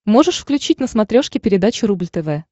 можешь включить на смотрешке передачу рубль тв